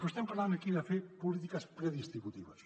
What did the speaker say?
però estem parlant aquí de fer polítiques predistributives